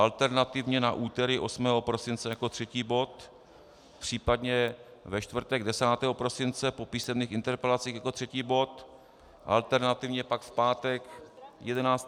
Alternativně na úterý 8. prosince jako třetí bod, případně ve čtvrtek 10. prosince po písemných interpelacích jako třetí bod, alternativně pak v pátek 11. prosince...